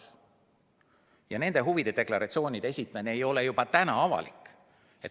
Nende puhul ei ole huvide deklaratsioonide esitamine ka praegu avalik.